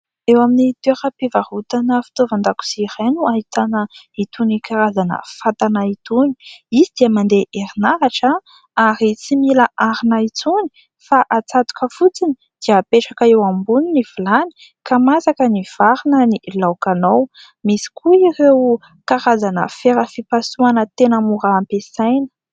Eo amin'ny toeram-pivarotana fitaovan-dakozia iray no ahitana itony karazana fatana itony. Izy dia mandeha herinaratra ary tsy mila arina intsony fa hatsatoka fotsiny dia hapetraka eo amboniny ny vilany, ka masaka ny vary na ny laokanao. Misy koa ireo karazana fera fipasohana tena mora ampiasaina.